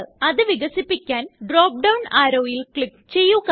അത് വികസിപ്പിക്കാന് drop down ആരോവില് ക്ലിക്ക് ചെയ്യുക